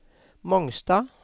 Mongstad